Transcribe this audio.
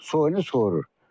Soyunu sorur.